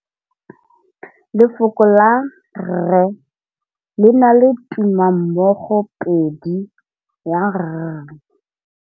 Lefoko la rre, le na le tumammogôpedi ya, r.